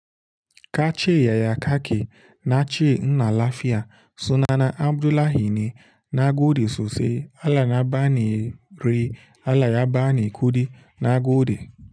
Ka ce yaya kake nace ina lafiya sunana Abdullahi ne. Nagode sosai Allah na bani re, Allah ya bani kuɗi, na gode.